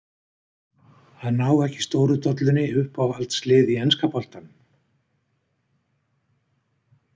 Að ná ekki stóru dollunni Uppáhaldslið í enska boltanum?